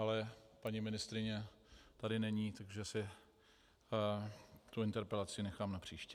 Ale paní ministryně tady není, takže si tu interpelaci nechám na příště.